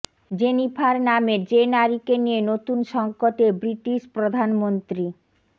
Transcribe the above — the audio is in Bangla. জেনিফার নামের যে নারীকে নিয়ে নতুন সংকটে ব্রিটিশ প্রধানমন্ত্রী